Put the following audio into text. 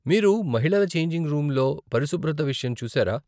మీరు మహిళల ఛేంజింగ్ రూమ్లో పరిశుభ్రత విషయం చూసారా?